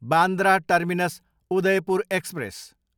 Bandra terminus, Udaipur express